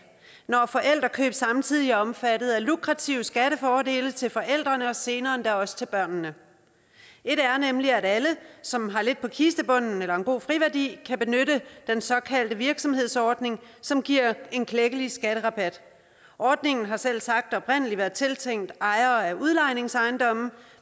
når forældrekøb samtidig er omfattet af lukrative skattefordele til forældrene og senere endda også til børnene alle som har lidt på kistebunden eller en god friværdi kan benytte den såkaldte virksomhedsordning som giver en klækkelig skatterabat ordningen har selvsagt oprindelig været tiltænkt ejere af udlejningsejendomme